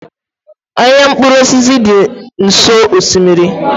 Ahịa mkpụrụ osisi dị nso osimiri